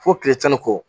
Fo kile tan ni kɔ